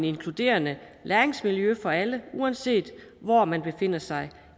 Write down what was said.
inkluderende læringsmiljø for alle uanset hvor man befinder sig